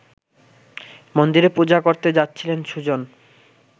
মন্দিরে পূজা করতে যাচ্ছিলেন সুজন